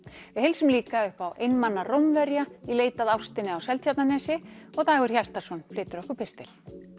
við heilsum líka upp á einmana Rómverja í leit að ástinni á Seltjarnarnesi og Dagur Hjartarson flytur okkur pistil